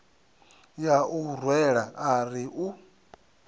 ya u rwela ari u